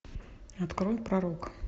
открой пророк